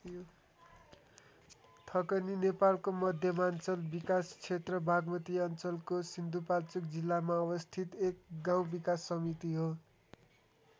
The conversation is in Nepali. थकनी नेपालको मध्यमाञ्चल विकास क्षेत्र बागमती अञ्चलको सिन्धुपाल्चोक जिल्लामा अवस्थित एक गाउँ विकास समिति हो।